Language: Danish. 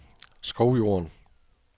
Skovjorden